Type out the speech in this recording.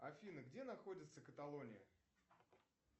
афина где находится каталония